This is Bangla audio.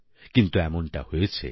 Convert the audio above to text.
কিন্তু এমনটা হয়েছে